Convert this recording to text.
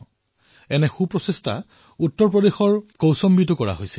কিছুমান এনে প্ৰকাৰৰ নিষ্ঠাপূৰ্ণ প্ৰয়াস উত্তৰ প্ৰদেশ কৌশম্বীতো কৰাহৈছে